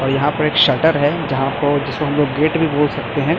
और यहां पर एक शटर है जहां को जिसको हम लोग गेट भी बोल सकते हैं।